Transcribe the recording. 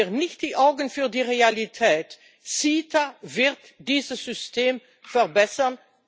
Verschließen wir nicht die Augen für die Realität CETA wird dieses System verbessern.